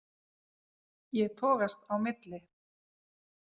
Ég togast á milli.